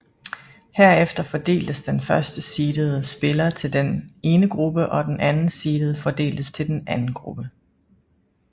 Herefter fordeltes den første seedede spiller til den ene gruppe og den anden seedede fordeltes til den anden gruppe